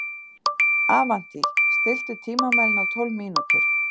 Avantí, stilltu tímamælinn á tólf mínútur.